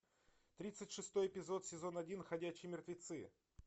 тридцать шестой эпизод сезон один ходячие мертвецы